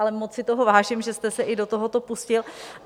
Ale moc si toho vážím, že jste se i do tohoto pustil.